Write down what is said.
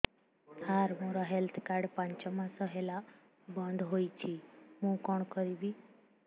ସାର ମୋର health card ପାଞ୍ଚ ମାସ ହେଲା ବଂଦ ହୋଇଛି ମୁଁ କଣ କରିବି